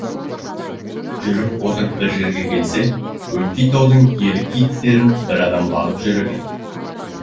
жүріп отырып бір жерге келсе өңкей таудың елік киіктерін бір адам бағып жүр екен